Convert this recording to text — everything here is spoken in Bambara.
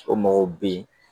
O mɔgɔw bɛ yen